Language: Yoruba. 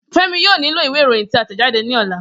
Femi yoo nilo iwe iroyin ti a tẹjade ni ọla.